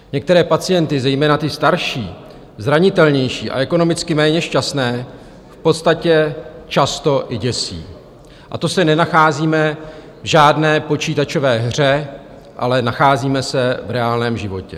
Některé pacienty, zejména ty starší, zranitelnější a ekonomicky méně šťastné, v podstatě často i děsí, a to se nenacházíme v žádné počítačové hře, ale nacházíme se v reálném životě.